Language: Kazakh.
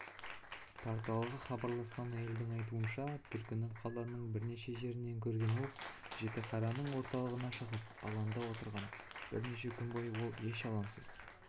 порталға хабарласқан әйелдің айтуынша түлкіні қаланың бірнеше жерінен көрген ол жітіқараның орталығына шығып алаңда отырған бірнеше күн бойы ол еш алаңсыз